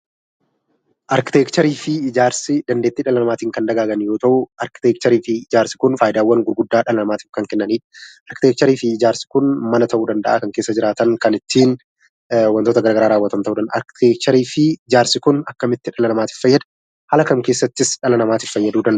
Arkiteekchariifi ijaarsi dandeetti dhala namattin Kan dagaaggaan yoo ta'u, arkiteekchariifi ijaarsi kun faayyidaawwan gurguddaa dhala namaattif Kan kennani arkteekchariifi ijaarsi kun mana ta'u danda'aa Kan keessa jiraatan Kan ittin wantoota garagaraa raawwaatan ta'u danda'a. arkteekchariifi ijaarsi kun akkamitti dhala namattif faayyadaa, Haala kam keessattis dhala namattif faayyaduu danda'aa